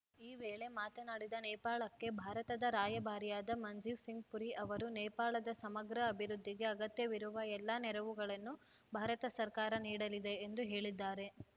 ಈ ವೇಳೆ ಮಾತನಾಡಿದ ನೇಪಾಳಕ್ಕೆ ಭಾರತದ ರಾಯಭಾರಿಯಾದ ಮಂಜೀವ್‌ ಸಿಂಗ್‌ ಪುರಿ ಅವರು ನೇಪಾಳದ ಸಮಗ್ರ ಅಭಿವೃದ್ಧಿಗೆ ಅಗತ್ಯವಿರುವ ಎಲ್ಲ ನೆರವುಗಳನ್ನು ಭಾರತ ಸರ್ಕಾರ ನೀಡಲಿದೆ ಎಂದು ಹೇಳಿದ್ದಾರೆ